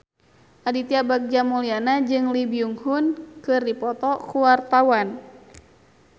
Aditya Bagja Mulyana jeung Lee Byung Hun keur dipoto ku wartawan